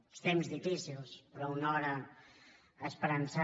uns temps difícils però una hora esperançada